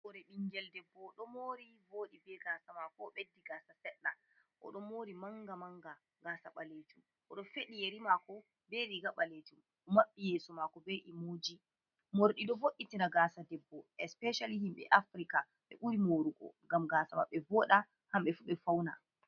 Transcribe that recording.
Hore ɓingel debbo ɗo mori boɗɗi be gasa mako beddi gasa seɗɗa. Oɗo mori manga manga gasa ɓalejum. oɗo feɗi yeri mako be riga ɓalejum. Omaɓɓi yeso mako bei emoji. Morɗi ɗo vo’itina gasa debbo especially himɓe Afrika ɓe ɓuri morugo ngam gasa maɓɓe voda kamɓe fu ɓe fauna.